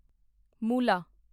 ਮੂਲਾ